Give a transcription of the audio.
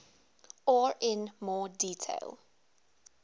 or in more detail